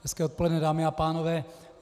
Hezké odpoledne, dámy a pánové.